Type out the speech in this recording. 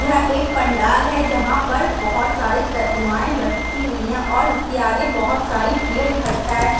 यहाँ एक पंडाल है जहाँ पर बहोत सारी प्रतिमाएँ रखी हुई है और उसके आगे बहोत सारी भीड़ इखट्टा है।